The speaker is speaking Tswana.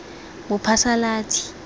bophasalatsi